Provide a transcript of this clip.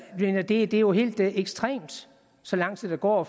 mener det er jo helt ekstremt så lang tid der går og